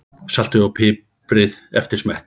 Saltið og piprið eftir smekk.